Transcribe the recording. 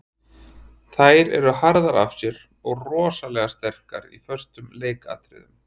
Þær eru harðar af sér og rosalega sterkar í föstum leikatriðum.